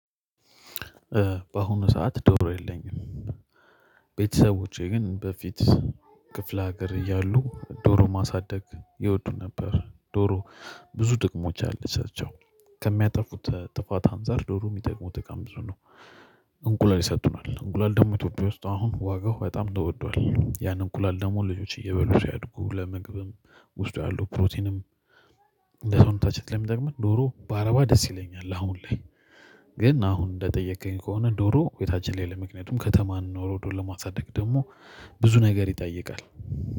በአሁኑ ሰዓት ዶሮ የለኝም። ቤተሰቦቼ ግን በፊት ክፍለ ሀገር እያሉ ዶሮ ማሳደግ ይወዱ ነበር፤ ዶሮ ብዙ ጥቅሞች አለቻቸው ከሚያጠፉት ጥፋት አንፃር ዶሮ የሚጠቅሙት ቀን ብዙ ነው፤ እንቁላል ይሰጡናል፤ እንቁላል ደግሞ ኢትዮጵያ ውስጥ አሁን ዋጋው በጣም ተወዷል፤ ያንን እንቁላል ደግሞ ልጆች እየበሉ ሲያድጉ ለመግብም ውስጥ ያሉ ፕሮቲንም እንደውም ታች ላይ የሚጠቅመን ዶሮ በረባ ደስ ይለኛል፤ አሁን ላይ ግን፤ አሁን እንደጠየቅከኝ ከሆነ ዶሮ ቤታችን ላይ ለምክንያቱም ከተማን ኖሮ ዶሮ ለማጻደቅ ደግሞ ብዙ ነገር ይጠይቃል።